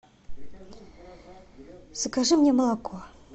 закажи мне молоко